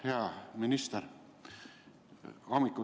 Hea minister!